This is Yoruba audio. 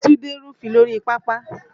Túndé rúfin lórí pápá